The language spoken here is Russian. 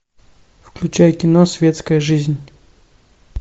включай кино светская жизнь